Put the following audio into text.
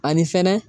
Ani fɛnɛ